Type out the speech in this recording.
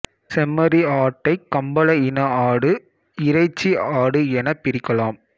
செம்மறி ஆட்டைக் கம்பள இன ஆடு இறைச்சி ஆடு எனப் பிரிக்கலாம்